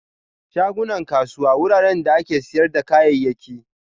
Shagunan kasuwa wuraren da ake siyar da kayayyaki.